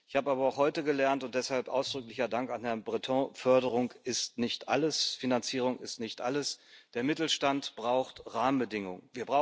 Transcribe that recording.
Ich habe aber auch heute gelernt und deshalb ausdrücklicher Dank an Herrn Breton Förderung ist nicht alles, Finanzierung ist nicht alles, der Mittelstand braucht Rahmenbedingungen.